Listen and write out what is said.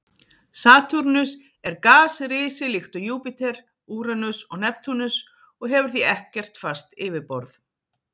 Satúrnus er gasrisi líkt og Júpíter, Úranus og Neptúnus og hefur því ekkert fast yfirborð.